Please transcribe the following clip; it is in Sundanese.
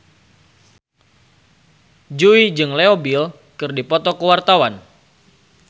Jui jeung Leo Bill keur dipoto ku wartawan